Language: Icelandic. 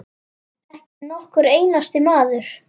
Ekki nokkur einasti maður.